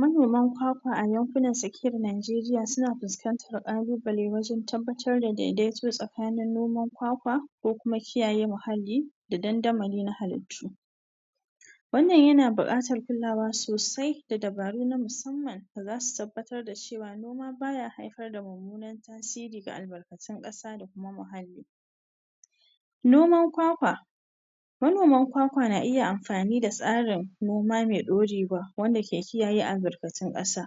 Manoman kwakwa a yakunan sakir Naijeriya suna fuskantar kalu bale wajan tabbatar da dedaito tsa kani noman kwakwa ko kuma kiyaye muhalli da dandamali na halittu wannan yana buƙatar kulawa sosai da dabaru na musamman da zasu tabbatar da cewa noma baya haifar da mumunan tasiri ga albarkatu na ƙasa da kuma halli noman kwakwa manoman kwakwa na iya amfani da tsarin noma me ɗaurewa wanda ke kiyaye albarkatun ƙasa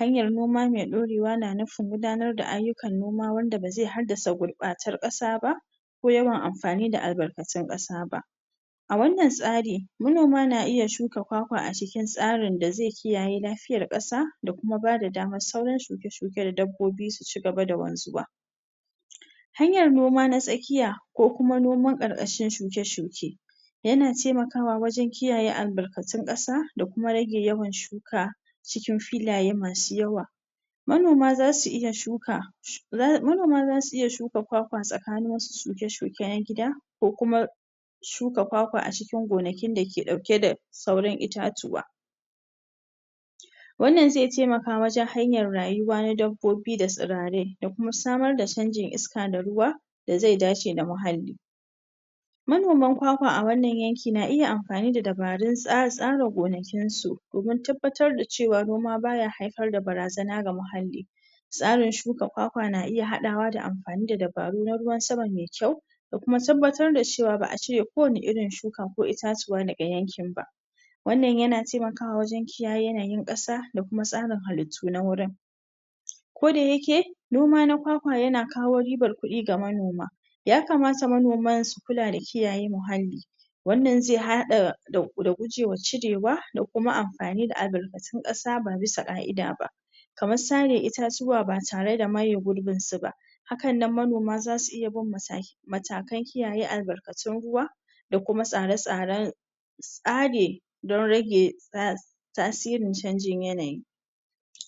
hanyar noma me ɗaurewa na nufi gudanar da ayyukan noma wanda ba ze haddasa gurbatan ƙasa ba ko yawan amfani da albarkatun ƙasaba a wannan tsari manoma na iya shuka kwakwa a cikin tsarin da ze kiyaye la fiyar ƙasa da kuma bada damar sauran shuke shuke da dabbobi suci gaba da wanzuwa hanyar noma na tsakiya ko kuma noman ƙarkashin shuke shuke yana temakawa wajan kiyaye albarkatun ƙasa dakuma rage yawan shuka cikin filaye masu yawa manoma zasu iya shuka manoma zasu iya shuka kwakwa tsa kanin wasu shuke shuke na gida ko kuma shuka kwakwa acikin gonakin da ke ɗauke da taurin itatuwa wannan ze temaka wajan hanyar rayuwa na dab bobi da tsirarai musamar da canjin iska da ruwa da ze dace da muhalli manoman kwakwa a wannan yan ki na iya amfani da dabarun tsara gona kinsu domin dabbatar da cewa noma baya haifar da barazana ga muhalli tsarin shuka kwakwa na iya haɗawa da am fani da dabar na ruwan sama me kyau da kuma dabbatar dacewa ba a cire ko wani irin shuka ko itatuwa daga yankin ba wannan yana kiya yewa wajan yanayin ƙasa da kuma tsarin halittu na gurin ko da yake noma na kwakwa yakawo riban kuɗi ga manoma yakamata manoman su kula da kiyaye mahalli wannan ze haɗa da gucewa cirewa da kuma amfani da albarkatun ƙasa ba bisa ƙa ida ba kaman sare itatuwa batare da maye gurbin suba hakannan manoma zasu iya bin mata matakan kiyaye albarkatun ruwa da kuma tsare tsaran tsage don rage ta tasirin canjin yanayi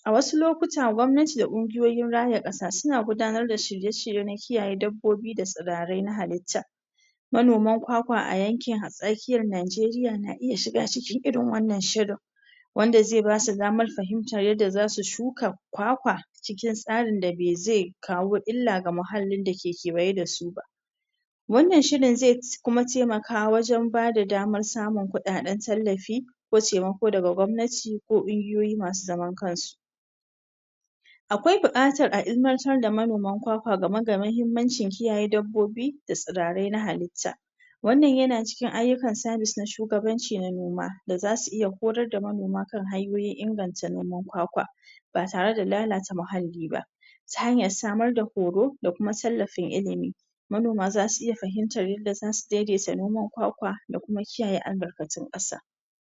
a wasu lokuta gwabnati da kungiyoyin raya ƙasa suna gudanar da shirye shirye na kiyaye dab bobi da tsirarai na halitta manoman kwakwa a yanki tsakiyar Naijeriya na iya shiga cikin irin wannan shirin wanda ze basu damar fahimtar yadda zasu shu ka kwakwa cikin tsarin da baze kawo illa ga muhallin dake kewaye da suba wannan shirin ze kuma temaka wajan ba da damar samun kuɗin tallafi ko cewan daga gwabnati ko ƙungiyoyi masu zaman kansu akwai buƙatar a ilimantar da manoma kwa kwa gameda mahimmanci kiyaye dab bobi da tsirarai na halitta wannan yana ciki ayukan sabis na shugabanci na noma da zsu iya horar da manoma kan hanyoyin inganta noman kwakwa batare da lallata muhalli ba ta hanyar sama da horo da kuma tallafin ilimi manoma zasu iya fahimtar yadda zasu dedaita noman kwakwa da kuma kiyaye albarkatun ƙasa